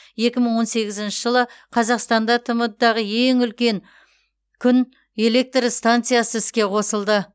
екі мың он сегізінші жылы қазақстанда тмд дағы ең үлкен күн электр станциясы іске қосылды